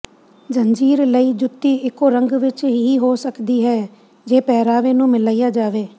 ਜੰਜੀਰ ਲਈ ਜੁੱਤੀ ਇੱਕੋ ਰੰਗ ਵਿਚ ਹੀ ਹੋ ਸਕਦੀ ਹੈ ਜੇ ਪਹਿਰਾਵੇ ਨੂੰ ਮਿਲਾਇਆ ਜਾਵੇ